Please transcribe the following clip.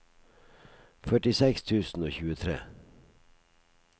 førtiseks tusen og tjuetre